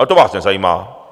Ale to vás nezajímá.